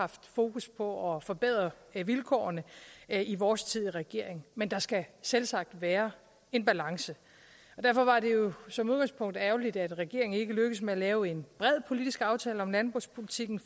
fokus på at forbedre vilkårene i vores tid som regering men der skal selvsagt være en balance derfor var det jo som udgangspunkt ærgerligt at regeringen ikke lykkedes med at lave en bred politisk aftale om landbrugspolitikken